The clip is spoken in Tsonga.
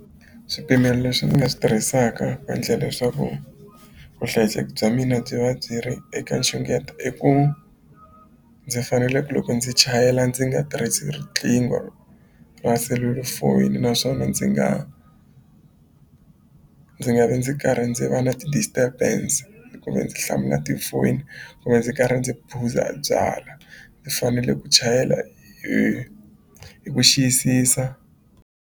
Swipimelo leswi ni nga swi tirhisaka ku endla leswaku vuhlayiseki bya mina byi va byi ri eka nxungeto i ku ndzi fanele ku loko ndzi chayela ndzi nga tirhisi riqingho ra selulafoni naswona ndzi nga ndzi nga vi ndzi karhi ndzi va na ti-disturbance hlamula tifoni kumbe ndzi karhi ndzi phuza byala fanele ku chayela hi hi ku xiyisisa.